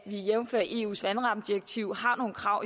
jævnfør eus vandrammedirektiv har nogle krav